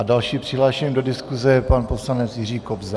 A dalším přihlášeným do diskuse je pan poslanec Jiří Kobza.